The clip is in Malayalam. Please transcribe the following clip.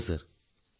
ഉവ്വ് സർ